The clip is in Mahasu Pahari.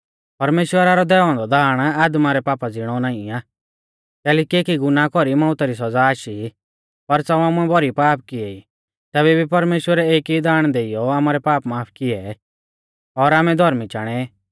परमेश्‍वरा रौ दैऔ औन्दौ दाण आदमा रै पापा ज़िणौ नाईं आ कैलैकि एकी गुनाह कौरी मौउता री सौज़ा आशी पर च़ाऊ आमुऐ भौरी पाप किऐ ई तैबै भी परमेश्‍वरै एक ई दाण देइयौ आमारै पाप माफ किऐ और आमै धौर्मी चाणै